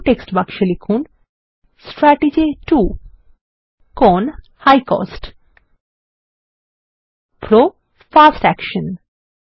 দ্বিতীয় টেক্সট বাক্সে লিখুন160 strategy 2 CON high cost PRO fast action